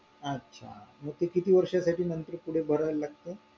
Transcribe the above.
अच्छा मंग ते किती वर्षासाठी नंतर पुढे भरावे लागतंय